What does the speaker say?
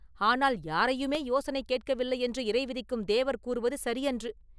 ஆனால் யாரையுமே யோசனை கேட்கவில்லையென்று இறைவிதிக்கும் தேவர் கூறுவது சரியன்று.